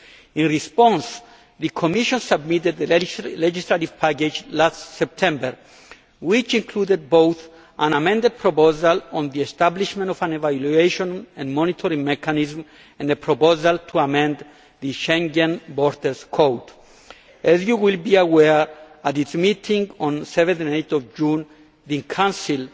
In response the Commission submitted the legislative package last September which included both an amended proposal on the establishment of an evaluation and monetary mechanism and a proposal to amend the Schengen Borders Code. As you will be aware, at its meeting on 7 and 8 June, the Council